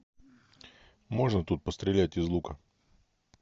можно тут пострелять из лука